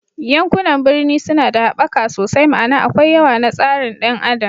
Yankunan birni suna da haɓaka sosai, ma'ana akwai yawa na tsarin ɗan adam